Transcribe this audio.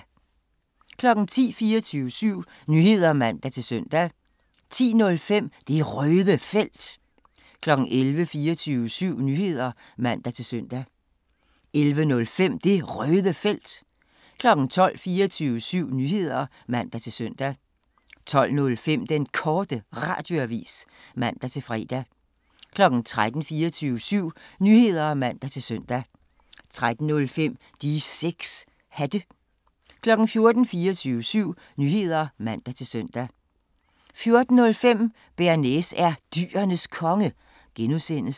10:00: 24syv Nyheder (man-søn) 10:05: Det Røde Felt 11:00: 24syv Nyheder (man-søn) 11:05: Det Røde Felt 12:00: 24syv Nyheder (man-søn) 12:05: Den Korte Radioavis (man-fre) 13:00: 24syv Nyheder (man-søn) 13:05: De 6 Hatte 14:00: 24syv Nyheder (man-søn) 14:05: Bearnaise er Dyrenes Konge (G)